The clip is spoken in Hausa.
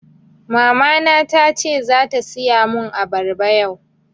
Mama na tace zata siya mun abarba yau